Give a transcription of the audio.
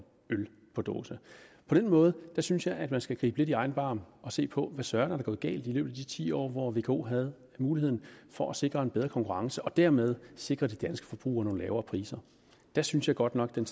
dåseøl på den måde synes jeg at man skal gribe lidt i egen barm og se på hvad søren der er gået galt i løbet af de ti år hvor vko havde mulighed for at sikre en bedre konkurrence og dermed sikre de danske forbrugere nogle lavere priser der synes jeg godt nok at den